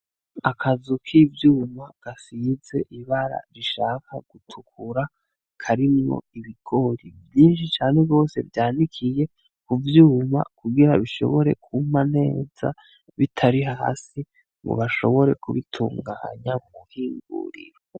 Akazu k'ivyuma gasize ibara rishaka gutukura karimwo ibigori vyinshi cane gose vyanikiye kuvyuma, kugira bishibore kwuma neza bitari hasi ngo bashobore kubitunganya mw'ihinguriro.